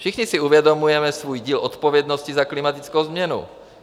Všichni si uvědomujeme svůj díl odpovědnosti za klimatickou změnu.